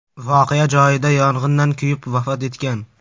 voqea joyida yong‘indan kuyib vafot etgan.